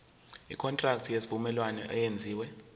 ikontraki yesivumelwano eyenziwe